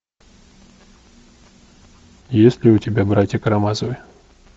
есть ли у тебя братья карамазовы